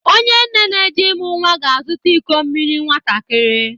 Onye nne n'eje imụ nwa ga-azụta iko mmiri nwatakịrị.